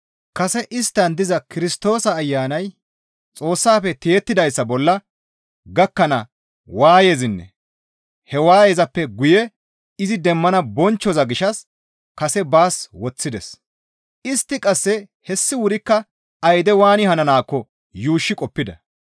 Kase isttan diza Kirstoosa Ayanay Xoossafe tiyettidayssa bolla gakkana waayezanne he waayezappe guye izi demmana bonchchoza gishshas kase baas woththides; istti qasse hessi wurikka ayde waani hananaakko yuushshi qoppida.